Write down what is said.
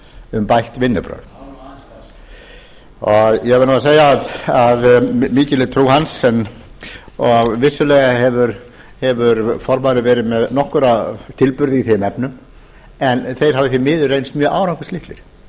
um bætt vinnubrögð ég verð nú að segja að mikil er trú hans og vissulega hefur formaðurinn verið með nokkra tilburði í þeim efnum en þeir hafa því